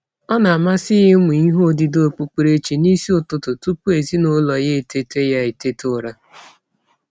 Ọ na-amasị ya ịmụ ihe odide okpukperechi n'isi ụtụtụ tụpụ ezinaụlọ ya eteta ya eteta ụra.